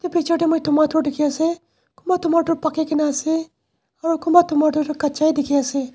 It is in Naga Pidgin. before te moi tomato dekhi ase kunba tomato paki kini ase aru kunba tomato tu catchaa a ase.